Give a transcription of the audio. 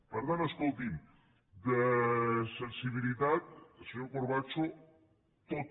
per tant escolti’m de sensibilitat senyor corbacho tota